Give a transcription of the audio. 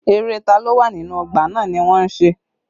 Eré ta lo wà nínú ọgbà náà ni wọ́n ń ṣe